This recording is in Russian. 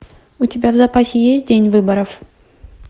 у тебя в запасе есть день выборов